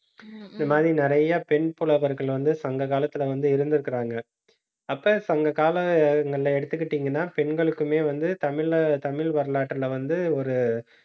இந்த மாதிரி நிறைய பெண் புலவர்கள் வந்து சங்க காலத்துல வந்து, இருந்திருக்கிறாங்க. அப்ப, சங்க காலங்கள்ல எடுத்துக்கிட்டிங்கன்னா பெண்களுக்குமே வந்து தமிழ், தமிழ் வரலாற்றுல வந்து ஒரு